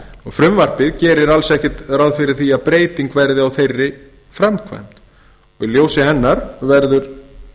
frumvarpið gerir alls ekkert ráð fyrir að breyting verði gerð á þeirri framkvæmd í ljósi hennar verður